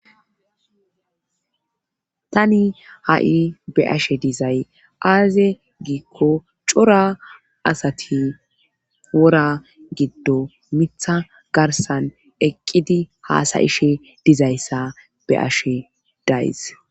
Tani ha'i be ashe dizay aaze giikko cora asati wora giddo mitha garsan eqqidi haasayishe dizayssa be ashe days.